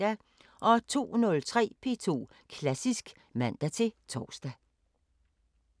02:03: P2 Klassisk (man-tor)